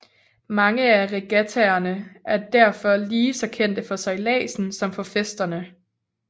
Mange af regattaerne er derfor lige så kendte for sejladsen som for festerne